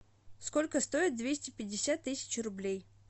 сколько стоит двести пятьдесят тысяч рублей